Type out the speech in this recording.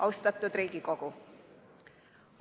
Austatud Riigikogu!